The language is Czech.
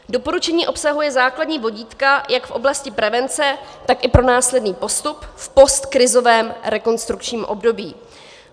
Doporučení obsahuje základní vodítka jak v oblasti prevence, tak i pro následný postup v postkrizovém rekonstrukčním období.